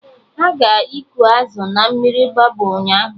Ha ga-ịkụ azụ na mmiri Mgbabọ ụnyaahụ